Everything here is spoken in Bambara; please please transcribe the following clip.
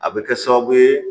A bɛ kɛ sababu ye